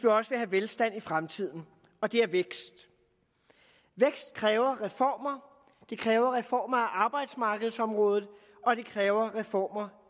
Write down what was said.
også vil have velstand i fremtiden og det er vækst vækst kræver reformer det kræver reformer af arbejdsmarkedsområdet og det kræver reformer